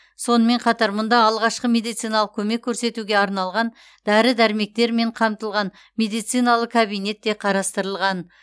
сонымен қатар мұнда алғашқы медициналық көмек көрсетуге арналған дәрі дәрмектермен қамтылған медициналы кабинет те қарастырылған